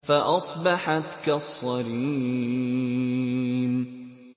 فَأَصْبَحَتْ كَالصَّرِيمِ